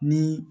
Ni